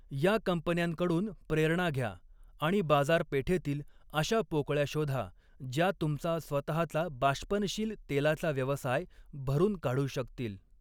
या कंपन्यांकडून प्रेरणा घ्या आणि बाजारपेठेतील अशा पोकळ्या शोधा, ज्या तुमचा स्वतःचा बाष्पनशील तेलाचा व्यवसाय भरून काढू शकतील.